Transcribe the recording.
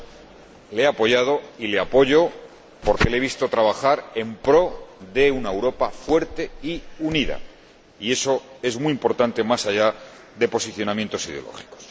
Sí, le he apoyado y le apoyo, porque le he visto trabajar en pro de una Europa fuerte y unida, y eso es muy importante, más allá de posicionamientos ideológicos.